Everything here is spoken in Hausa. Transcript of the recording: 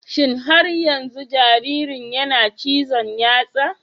Shin har yanzu jaririn yana cizon yatsa?